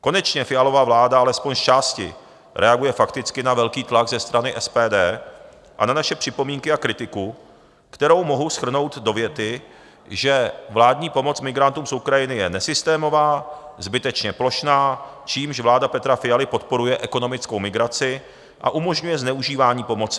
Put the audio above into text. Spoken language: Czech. Konečně Fialova vláda alespoň zčásti reaguje fakticky na velký tlak ze strany SPD a na naše připomínky a kritiku, kterou mohu shrnout do věty, že vládní pomoc migrantům z Ukrajiny je nesystémová, zbytečně plošná, čímž vláda Petra Fialy podporuje ekonomickou migraci a umožňuje zneužívání pomoci.